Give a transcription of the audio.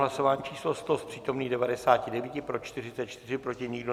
Hlasování číslo 100, z přítomných 99, pro 44, proti nikdo.